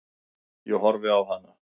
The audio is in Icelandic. Ég horfi á hana.